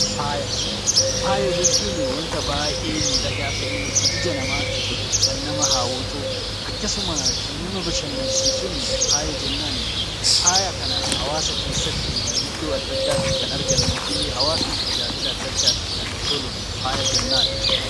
Faaya Faaya jechuuni wanta baay'ee miidhagaa ta'ee kan ija namaatti tolu, kan nama hawwatu, akkasuma kan nama bashannansiisuunii faaya jennaan. Faaya kana hawaasa keessatti iddoo adda addaatti kan argannuu fi hawaasni tajaajila adda addaatiif kan itti ooluun faaya jennaan.